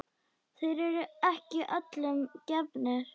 Þeir eru ekki öllum gefnir.